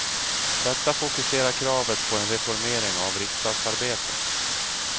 Detta fokuserar kravet på en reformering av riksdagsarbetet.